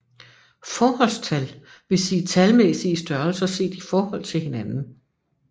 Forholdstal vil sige talmæssige størrelser set i forhold til hinanden